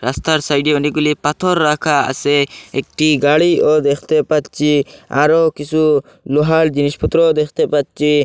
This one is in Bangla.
রাস্তার সাইডে অনেকগুলি পাথর রাখা আসে একটি গাড়িও দেখতে পাচ্ছি আরও কিসু লোহার জিনিসপত্র দেখতে পাচ্ছি।